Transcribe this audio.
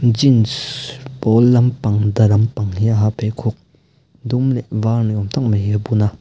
jeans pawl lampang da lampang hi a ha a pheikhawk dum leh var ni awm tak mai hi a bun a.